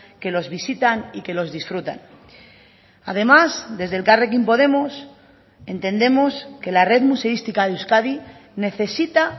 que los visitan y que los disfrutan además desde elkarrekin podemos entendemos que la red museística de euskadi necesita